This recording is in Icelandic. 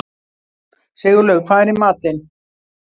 Sigurlaug, hvað er í matinn?